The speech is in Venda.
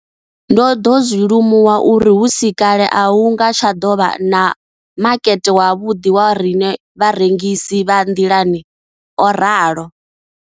Ndo ḓo zwi limuwa uri hu si kale a hu nga tsha ḓo vha na makete wavhuḓi wa riṋe vharengisi vha nḓilani, o ralo.